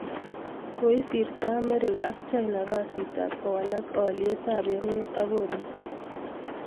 Koisirto Amerika AK china kasit ab kowalak aliet ab emet AK koristo.